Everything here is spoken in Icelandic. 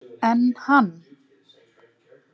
En hann!